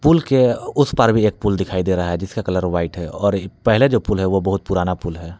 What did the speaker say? पुल के उस पार भी एक पुल दिखाई दे रहा है जिसका कलर वाइट है और पहले जो पुल है वो बहुत पुराना पुल है।